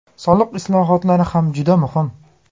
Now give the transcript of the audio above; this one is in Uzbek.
Soliq islohotlari ham juda muhim.